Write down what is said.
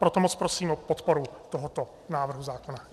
Proto moc prosím o podporu tohoto návrhu zákona.